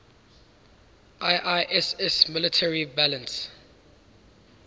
iiss military balance